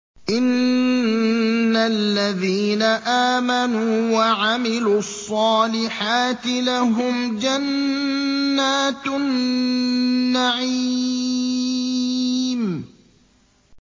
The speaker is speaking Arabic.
إِنَّ الَّذِينَ آمَنُوا وَعَمِلُوا الصَّالِحَاتِ لَهُمْ جَنَّاتُ النَّعِيمِ